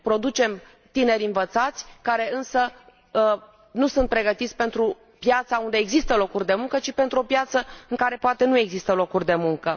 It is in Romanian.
Producem tineri învățați care, însă, nu sunt pregătiți pentru piața unde există locuri de muncă, ci pentru o piață în care, poate, nu există locuri de muncă.